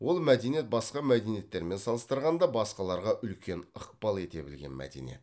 ол мәдениет басқа мәдениеттермен салыстырғанда басқаларға үлкен ықпал ете білген мәдениет